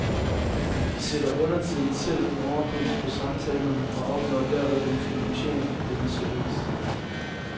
De sætter undertiden selv en overpris på samtalerne og opnår derved en finansiering af denne service.